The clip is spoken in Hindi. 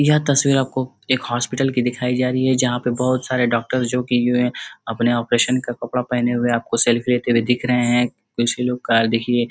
यह तस्वीर आपको एक हॉस्पिटल की दिखाई जा रही है जहां पे बहोत सारे डॉक्टर जो कि जो है अपने ऑपरेशन का कपड़ा पहने हुए आपको सेल्फी लेते हुए दिख रहे हैं कुछ लोग का देखिए।